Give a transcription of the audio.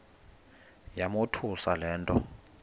yamothusa le nto